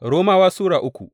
Romawa Sura uku